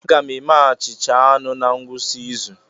Aga m eme achịcha anụ na ngwụsị izu